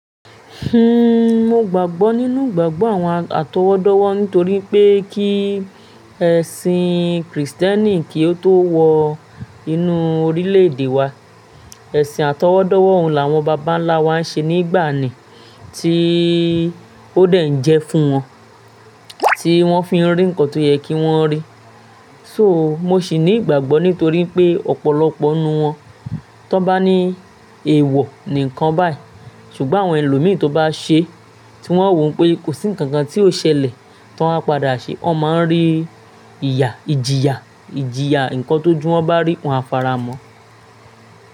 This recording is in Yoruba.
Hhm, mo gbàgbọ́ nínú ìgbàgbọ́ àwọn atọwọ́dọ́wọ́ nítorí pé kí ẹ̀sìn Krìstẹ́nì kí ó tó wọ inú orílẹ̀ èdè wa, ẹ̀sìn àtọwọ́dọ́wọ́ òun làwọn bàbá ńlá wa ń ṣe nígbàanì tí ó dè n jẹ fún wọn, tí wọ́n fi n rí ǹkan tó yẹ kí wọ́n rí. So, mo sì ní ìgbàgbọ́ nítorí pé ọ̀pọ̀lọpọ̀ ninú wọn, tí wọ́n bá ní èèwọ̀ ní ǹkan báyìí, ṣùgbọ́n àwọn ẹlòmíràn tó bá ṣe, tí wọ́n wò pé kò sí ǹkankan tí ó ṣẹlẹ̀ tí wọ́n á padà ṣe, wọ́n máa ń rí ìjìyà, ǹkan tójù wọ́n bá rí wòn á faramọ̀